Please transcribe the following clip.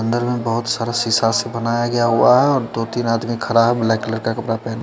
अन्दर में बोहोत सारा सीसा से बना गिया हुआ है और दो तीन आदमी खरा है ब्लैक कलर का कपड़ा पेहने--